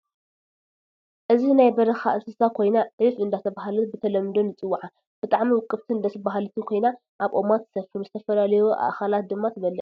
አዚ ናይ በረካ እንስሳ ኮይና ዕፍ እዳተበሃለት ብተለምዶ ንፅውዓ ብጣዓሚ ውቅብትን ደስ በሃልቲን ኮይና ኣብ ኦማት ትሰፍር ዝተፈላለዩ ኣእክላት ድማ ትበልዕ